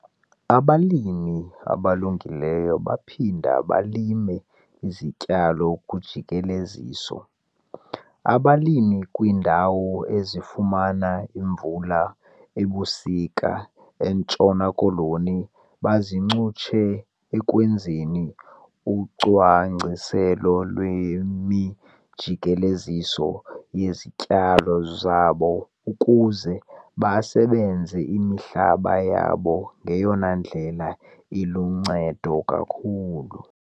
Abalimi abalungileyo baphinda balime izityalo kujikeleziso. Abalimi kwiindawo ezifumana imvula ebusika eNtshona Koloni baziincutshe ekwenzeni ucwangciselo lwemijikeleziso yezityalo zabo ukuze basebenzise imihlaba yabo ngeyona ndlela iluncedo kakhulu.